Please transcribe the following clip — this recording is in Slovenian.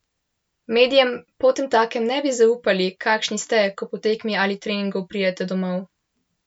Medijem potemtakem ne bi zaupali, kakšni ste, ko po tekmi ali treningu pridete domov?